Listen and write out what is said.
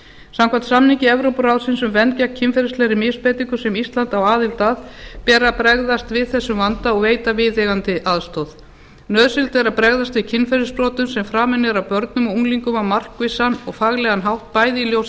samkvæmt samningi evrópuráðsins um vernd gegn kynferðislegri misbeitingu sem ísland á aðild að ber að bregðast við þessum vanda og veita viðeigandi aðstoð nauðsynlegt er að bregðast við kynferðisafbrotum sem framin eru af börnum og unglingum á markvissan og faglegan hátt bæði í ljósi